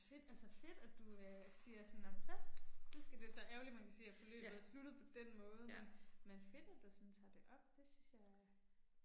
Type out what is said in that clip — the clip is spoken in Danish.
Fedt altså fedt at du øh siger sådan nåh men så. Nu skal det så ærgerligt man kan sige at forløbet er sluttet på den måde, men men fedt at du sådan tager det op, det synes jeg